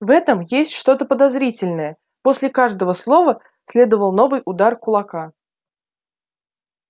в этом есть что-то подозрительное после каждого слова следовал новый удар кулака